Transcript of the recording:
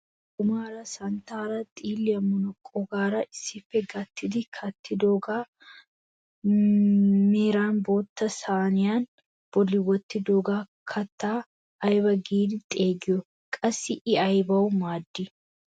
Lokkomaara, santtaaranne xiilliyaa munaqqoogara issippe gattidi kattidoogaa meran bootta sayniyaa bolli wottidoogaa kattaa ayba giidi xeegiyoo? qassi i aybaa maaddii?